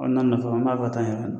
N'a nafa n b'a fɛ ka taa n yɛrɛ